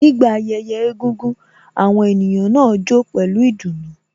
Nígbà ayẹyẹ egúngún, àwọn ènìyàn náà jó pẹlu ìdùnnú